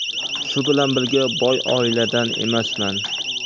Shu bilan birga, boy oiladan emasman.